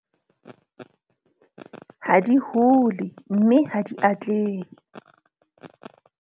Ha di hole, mme ha di atlehe.